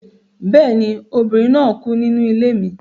Bẹ́ẹ̀ ni, obìnrin náà kú nínú ilé mi